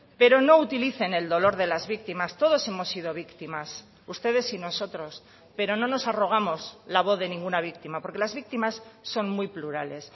pero no utilicen el dolor de las víctimas todos hemos sido víctimas ustedes y nosotros pero no nos arrogamos la voz de ninguna víctima porque las víctimas son muy plurales